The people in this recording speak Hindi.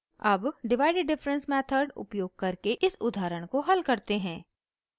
अब divided difference method उपयोग करके इस उदाहरण को हल करते हैं